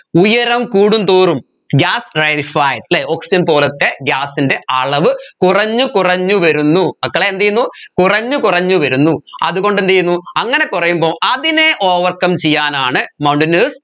ഉയരം കൂടുന്തോറും gas അല്ലെ oxygen പോലെത്തെ gas ൻറെ അളവ് കുറഞ്ഞ് കുറഞ്ഞ് വരുന്നു മക്കളെ എന്ത് ചെയ്യുന്നു കുറഞ്ഞ് കുറഞ്ഞ് വരുന്നു അത് കൊണ്ട് എന്ത് ചെയ്യുന്നു അങ്ങനെ കുറയുമ്പോ അതിനെ overcome ചെയ്യാനാണ് mountainers